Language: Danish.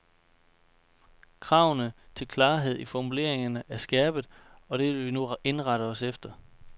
Kravene til klarhed i formuleringerne er skærpet, og det vil vi nu indrette os efter.